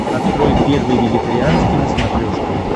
открой первый вегетарианский на смотрешке